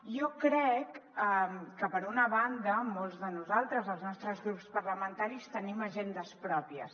jo crec que per una banda molts de nosaltres els nostres grups parlamentaris tenim agendes pròpies